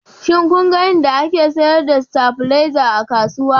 Shin kun ga inda ake sayar da stabilizer a kasuwa?